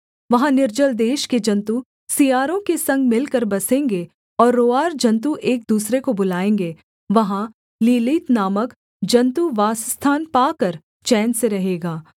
वहाँ निर्जल देश के जन्तु सियारों के संग मिलकर बसेंगे और रोंआर जन्तु एक दूसरे को बुलाएँगे वहाँ लीलीत नामक जन्तु वासस्थान पाकर चैन से रहेगा